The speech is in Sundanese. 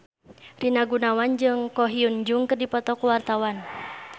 Rina Gunawan jeung Ko Hyun Jung keur dipoto ku wartawan